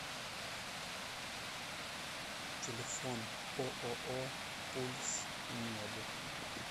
телефон ооо пульс мед